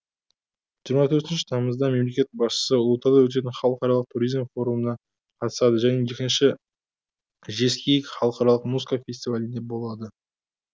жиырма төртінші тамызда мемлекет басшысы ұлытауда өтетін халықаралық туризм форумына қатысады және екінші жезкиік халықаралық музыка фестивалінде болады